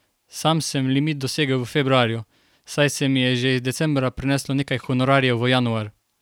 Sam sem limit dosegel v februarju, saj se mi je že iz decembra preneslo nekaj honorarjev v januar.